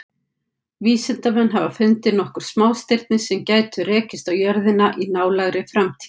Vísindamenn hafa fundið nokkur smástirni sem gætu rekist á jörðina í nálægri framtíð.